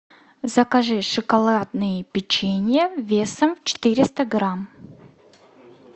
закажи шоколадное печенье весом четыреста грамм